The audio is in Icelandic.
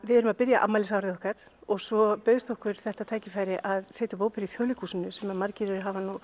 við erum að byrja afmælisárið okkar og svo bauðst okkur þetta tækifæri að setja upp óperu í Þjóðleikhúsinu sem margir hafa